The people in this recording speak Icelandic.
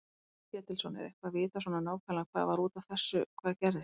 Páll Ketilsson: Er eitthvað vitað svona nákvæmlega hvað var út af þessu hvað gerðist?